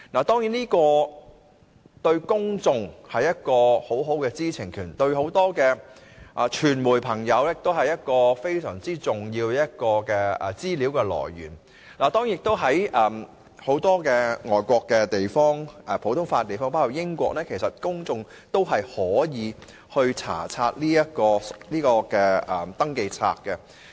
當然，這對公眾來說可以滿足他們的知情權，而對傳媒來說亦是非常重要的資料來源，畢竟在外國很多實行普通法的地方，包括英國，公眾都可以查閱登記冊。